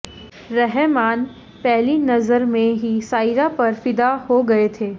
रहमान पहली नज़र में ही सायरा पर फिदा हो गये थे